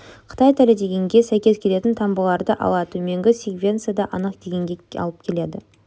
қытай тілі дегенге сәйкес келетін таңбаларды ала төменгі секвенция да анық дегенге алып келеді